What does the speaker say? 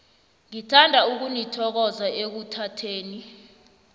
ngithanda ukunithokoza ekuthatheni